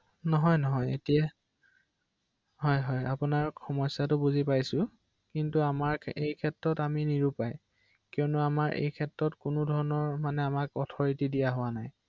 তেতিয়া মই নগলেও হ’ব আৰু বেংকলৈ ৷